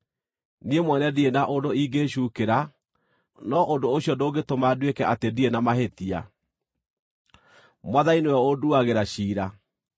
Niĩ mwene ndirĩ na ũndũ ingĩĩcuukĩra, no ũndũ ũcio ndũngĩtũma nduĩke atĩ ndirĩ na mahĩtia. Mwathani nĩwe ũnduagĩra ciira.